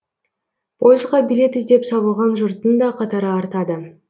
пойызға билет іздеп сабылған жұрттың да қатары артады